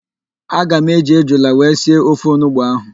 Aga m eji ejula wee sie ofe onugbo ahụ.